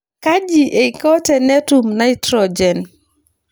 Kaji eiko tenetum naitrojen.